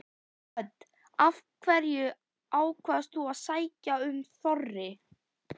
Hödd: Af hverju ákvaðst þú að sækja um Þorri?